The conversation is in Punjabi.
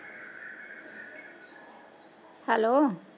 ਹੈੱਲੋ।